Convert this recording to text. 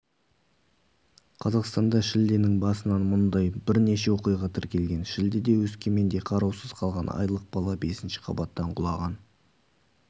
қазақстанда шілденің басынан мұндай бірнеше оқиға тіркелген шілдеде өскеменде қараусыз қалған айлық бала бесінші қабаттан құлаған